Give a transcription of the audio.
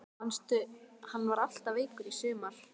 Manstu hann var alltaf veikur í sumar?